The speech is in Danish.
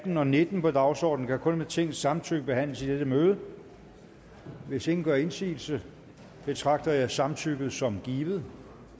atten og nitten på dagsordenen kan kun med tingets samtykke behandles i dette møde hvis ingen gør indsigelse betragter jeg samtykket som givet